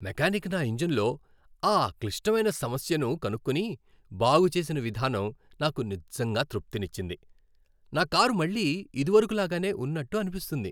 Mechanic నా ఇంజిన్లో ఆ క్లిష్టమైన సమస్యను కనుక్కుని, బాగుచేసిన విధానం నాకు నిజంగా తృప్తినిచ్చింది, నా కారు మళ్లీ ఇదివరకు లాగానే ఉన్నట్టు అనిపిస్తుంది.